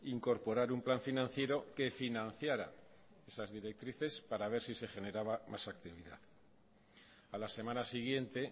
incorporar un plan financiero que financiara esas directrices para ver si se generaba más actividad a la semana siguiente